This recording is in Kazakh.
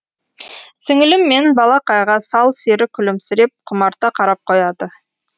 сіңілім мен балақайға сал сері күлімсіреп құмарта қарап қояды